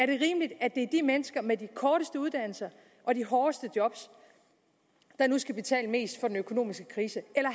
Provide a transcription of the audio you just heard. i mennesker med de korteste uddannelser og de hårdeste job der nu skal betale mest for den økonomiske krise eller